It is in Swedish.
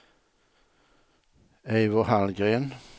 Eivor Hallgren